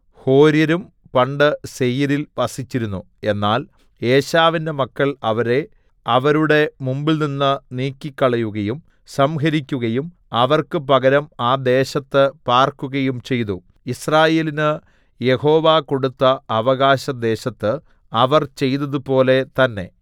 ഹോര്യരും പണ്ട് സേയീരിൽ വസിച്ചിരുന്നു എന്നാൽ ഏശാവിന്റെ മക്കൾ അവരെ അവരുടെ മുമ്പിൽനിന്ന് നീക്കിക്കളയുകയും സംഹരിക്കുകയും അവർക്ക് പകരം ആ ദേശത്ത് പാർക്കുകയും ചെയ്തു യിസ്രായേലിന് യഹോവ കൊടുത്ത അവകാശദേശത്ത് അവർ ചെയ്തതുപോലെ തന്നേ